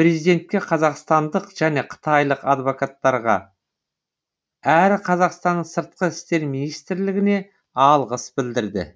президентке қазақстандық және қытайлық адвокаттарға әрі қазақстанның сыртқы істер министрлігіне алғыс білдірді